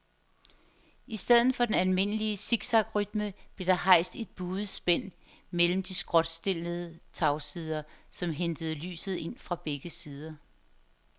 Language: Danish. I stedet for den almindelige siksakrytme blev der rejst et buet spænd mellem de skråtstillede tagsider, som hentede lyset ind fra begge sider.